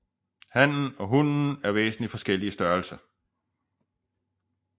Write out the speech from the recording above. Hannen og hunnen er væsentlig forskellige i størrelse